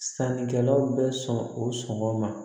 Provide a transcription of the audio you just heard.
Sannikɛlaw bɛ sɔn o sɔngɔ ma